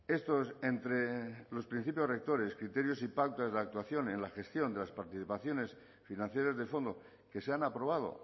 estos entre los principios rectores criterios y pautas de la actuación en la gestión de las participaciones financieras de fondo que se han aprobado